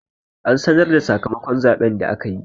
An sanar da sakamakon zaɓen da aka yi.